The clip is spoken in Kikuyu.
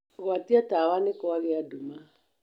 gwatia tawa nĩ kwagĩa nduma